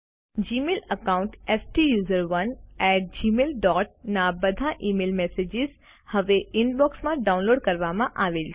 Gmail account સ્ટુસરોને at Gmail dot ના બધા ઇમેઇલ મેસેજીસ હવે ઇનબોક્સમાં માં ડાઉનલોડ કરવામાં આવેલ છે